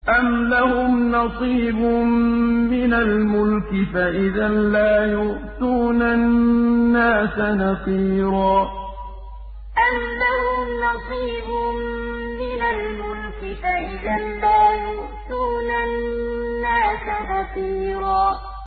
أَمْ لَهُمْ نَصِيبٌ مِّنَ الْمُلْكِ فَإِذًا لَّا يُؤْتُونَ النَّاسَ نَقِيرًا أَمْ لَهُمْ نَصِيبٌ مِّنَ الْمُلْكِ فَإِذًا لَّا يُؤْتُونَ النَّاسَ نَقِيرًا